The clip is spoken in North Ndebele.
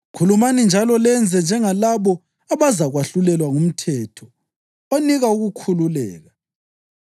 Khulumani njalo lenze njengalabo abazakwahlulelwa ngumthetho onika ukukhululeka,